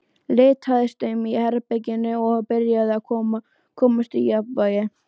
Litaðist um í herberginu og byrjaði að komast í jafnvægi.